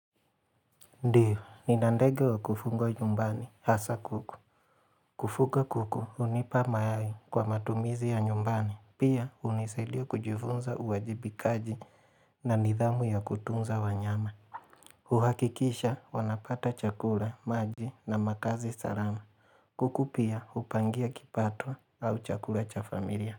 Ndiyo, nina ndege wa kufungwa nyumbani, hasa kuku. Kufuga kuku, hunipa mayai kwa matumizi ya nyumbani. Pia hunisaidia kujifunza uwajibikaji na nidhamu ya kutunza wanyama. Uhakikisha wanapata chakula, maji na makazi salama. Kuku pia hupangia kipato au chakula cha familia.